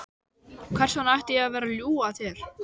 Hvers vegna ætti ég að vera að ljúga að þér?